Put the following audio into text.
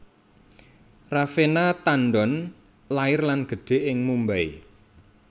Raveena Tandon lair lan gedhe ning Mumbai